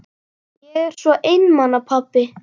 Ég er svo einmana pabbi.